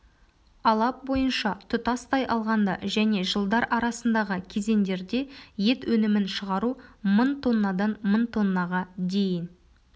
алап бойынша тұтастай алғанда және жылдар арасындағы кезеңдерде ет өнімін шығару мың тоннадан мың тоннаға дейін